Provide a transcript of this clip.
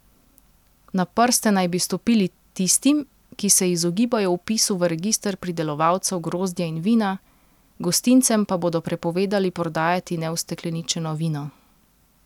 Na prste naj bi stopili tistim, ki se izogibajo vpisu v register pridelovalcev grozdja in vina, gostincem pa bodo prepovedali prodajati neustekleničeno vino.